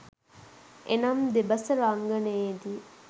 එනම් දෙබස රංගනයේදී